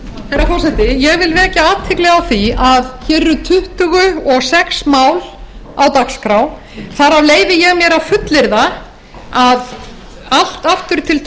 herra forseti ég vil vekja athygli á því að hér eru tuttugu og sex mál á dagskrá þar af leyfi ég mér að fullyrða að allt aftur til